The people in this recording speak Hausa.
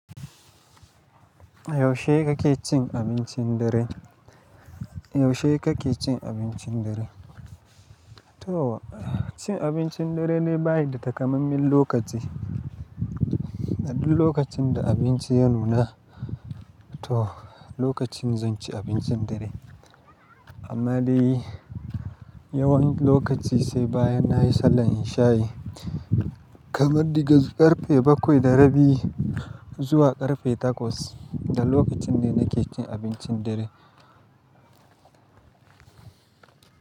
Yaushe kake cin abincin dare? Yaushe kake cin abincin dare? To, cin abincin dare na baya da takamaiman lokaci. A duk lokacin da abinci ya nuna, to, lokacin zan ci abincin dare. Amma dai yawan lokaci sai bayan na yi sallan isha'i, kamar diga ƙarfe bakwai da rabi zuwa ƙarfe takwas, da lokacin ne na ke cin abincin dare.